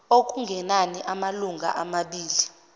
okungenani amalunga amabili